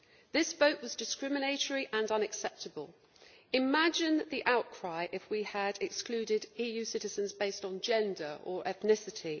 That vote was discriminatory and unacceptable. Imagine the outcry if we had excluded EU citizens on the basis of gender or ethnicity!